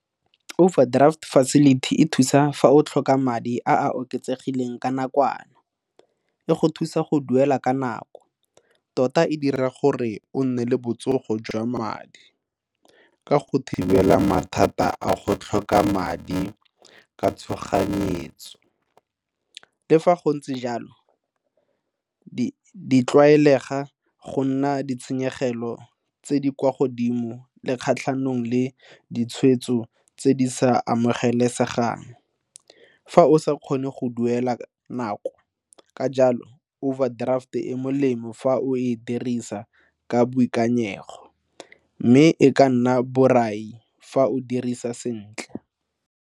Overdraft facility e thusa fa o tlhoka madi a a oketsegileng ka nakwana, e go thusa go duela ka nako tota e dira gore o nne le botsogo jwa madi ka go thibela mathata a go tlhoka madi ka tshoganyetso. Le fa go ntse jalo go a tlwaelega go nna le ditshenyegelo tse di kwa godimo tse kgatlhanong le ditshwetso tse di sa amogelesegang fa o sa kgone go duela ka nako. Ka jalo overdraft e molemo fa o e dirisa ka boikanyego mme, e ka nna borai fa o e dirisa sentle.